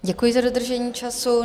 Děkuji za dodržení času.